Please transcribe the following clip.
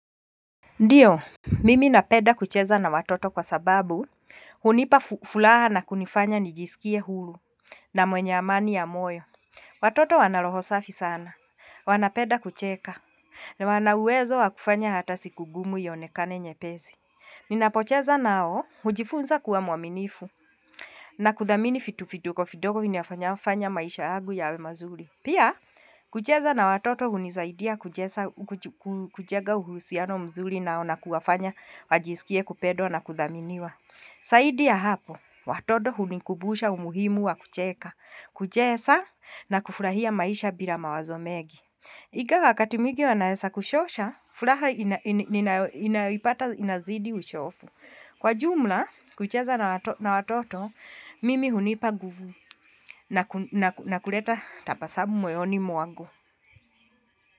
Ndiyo, mimi napeda kucheza na watoto kwa sababu hunipa furaha na kunifanya nijisikie huru na mwenye amani ya moyo. Watoto wana roho safi sana, wanapeda kucheka, na wana uwezo wa kufanya hatasiku ngumu ionekane nyepesi. Ninapocheza nao, hujifunza kwa mwaminifu, na kuthamini vitu vidogo vidogo vinafanya maisha yangu yawe mazuri. Pia, kucheza na watoto huni saidia kucheza, kujega uhusiano mazuri nao na kuwafanya wajisikie kupedwa na kuthaminiwa. Zaidi ya hapo, watoto huni kubusha umuhimua wa kucheka, kucheza na kufurahia maisha bila mawazo mengi. Ingawa wakati mwigi wanaweza kuchosha, furaha inayopata inazidi uchovu. Kwa jumla, kucheza na watoto, mimi hunipa nguvu na kuleta tabasabu mwoyoni mwangu.